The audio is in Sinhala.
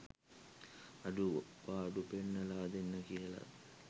අඩු පාඩු පෙන්නලා දෙන්න කියලත්